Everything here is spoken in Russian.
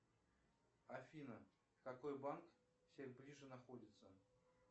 афина какой банк всех ближе находится